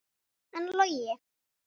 En Logi?